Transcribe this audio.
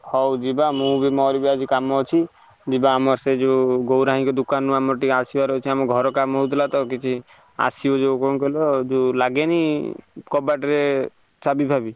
ହଉ ଯିବା ମୁଁ ବି ମୋର ବି କାମ ଅଛି ଯିବା ଆମ ସେ ଯୋଉ ଗୌରାଙ୍ଗ ଦୋକାନ ରୁ ଆମର ଟିକେ ଆସିବାର ଅଛି ଆମ ଘର କାମ ହଉଥିଲା ତ କିଛି ଆସିବ ଯୋଉ କଣ କହିଲ ଯୋଉ ଲାଗେନି କବାଟ ରେ ଚାବି ଫାବି,